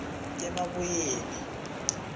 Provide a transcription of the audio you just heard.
emabuyeni